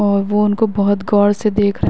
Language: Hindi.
और वो उनको बोहत गोर से देख रहे --